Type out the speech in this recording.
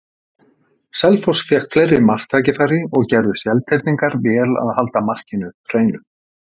Selfoss fékk fleiri marktækifæri og gerðu Seltirningar vel að halda markinu hreinu.